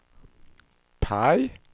PIE